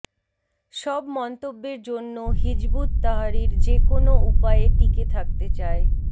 সব মন্তব্যের জন্য হিযবুত তাহরীর যেকোনো উপায়ে টিকে থাকতে চায়